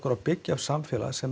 að byggja upp samfélag sem